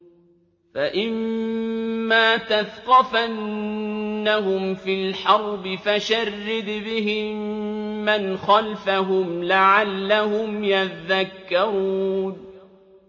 فَإِمَّا تَثْقَفَنَّهُمْ فِي الْحَرْبِ فَشَرِّدْ بِهِم مَّنْ خَلْفَهُمْ لَعَلَّهُمْ يَذَّكَّرُونَ